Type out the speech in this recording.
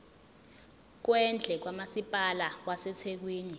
kwendle kamasipala wasethekwini